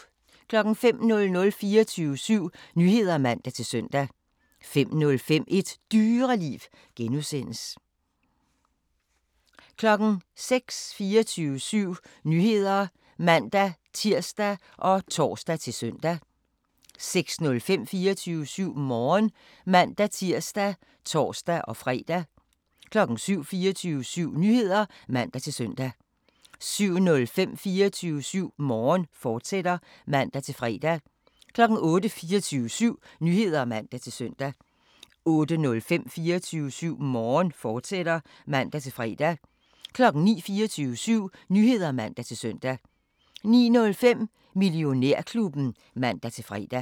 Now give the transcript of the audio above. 05:00: 24syv Nyheder (man-søn) 05:05: Et Dyreliv (G) 06:00: 24syv Nyheder (man-tir og tor-søn) 06:05: 24syv Morgen (man-tir og tor-fre) 07:00: 24syv Nyheder (man-søn) 07:05: 24syv Morgen, fortsat (man-fre) 08:00: 24syv Nyheder (man-søn) 08:05: 24syv Morgen, fortsat (man-fre) 09:00: 24syv Nyheder (man-søn) 09:05: Millionærklubben (man-fre)